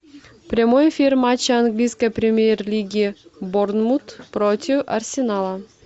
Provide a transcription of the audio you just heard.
прямой эфир матча английской премьер лиги борнмут против арсенала